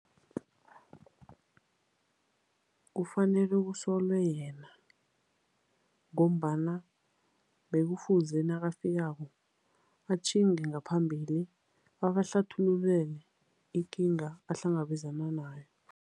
Kufanele kusolwe yena ngombana bekufuze nakafikako atjhinge ngaphambili, abahlathululele ikinga ahlangabezana nayo.